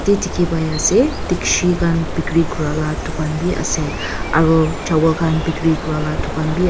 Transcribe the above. beh de khe pai ase digshe khan bekeri kurea la beh tugan be ase aro chawal khan bekeri kurea la tugan beh a--